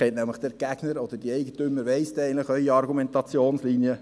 Denn jetzt kennt nämlich Ihr Gegner oder der Eigentümer eigentlich Ihre Argumentationslinie.